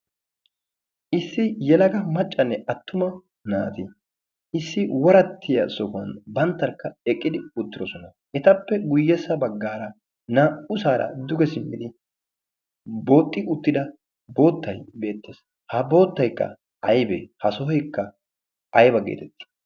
issi yelaga maccane atumma naati xoqqa sohuwan eqqidi beetoosona. etappe ya bagaara naa'u sohoy boota gididdo sohoy beetees. ha sohoykka aybee?